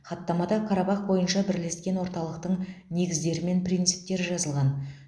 хаттамада қарабақ бойынша бірлескен орталықтың негіздері мен принциптері жазылған